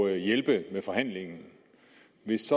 at hjælpe med forhandlingen